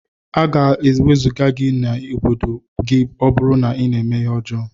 Aga ewezuga gi na obodo gi ọburu na ina eme ihe ọjọ.